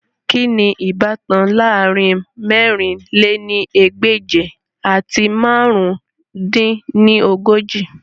Kini ibatan laarin mẹ̀rin lé ní ẹgbẹ́je ati màrún dín ní ogójì?